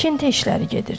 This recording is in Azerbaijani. Tikinti işləri gedirdi.